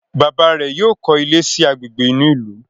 bàbá rẹ yóò kọ ilé sí Àgbègbè inú ilu.